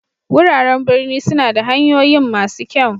Wuraren birni suna da hanyoyin masu kyau.